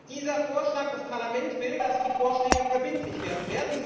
Dieser Vorschlag des Parlaments will, dass die Vorschläge verbindlich werden.